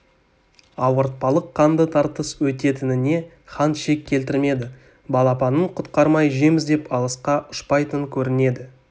ауыртпалық қанды тартыс өтетініне хан шек келтірмеді балапанын құтқармай жем іздеп алысқа ұшпайтын көрінеді